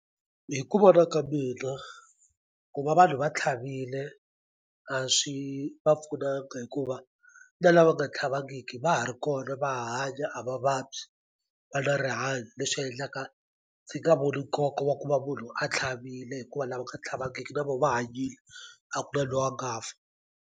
Hi ku vona ka mina ku va vanhu va tlhavile a swi va pfunanga hikuva na lava nga tlhavangiki va ha ri kona va hanya a va vabyi va na rihanyo leswi endlaka ndzi nga voni nkoka wa ku va munhu a tlhavile hikuva lava nga tlhavangiki na vo va hanyile a ku na lo wa nga fa.